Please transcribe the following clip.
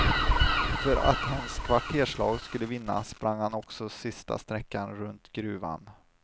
För att hans kvarterslag skulle vinna sprang han också sista sträckan runt gruvan.